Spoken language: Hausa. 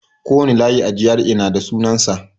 Kowane layi a GRA na da sunansa.